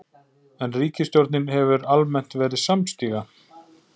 En ríkisstjórnin hefur almennt verið samstiga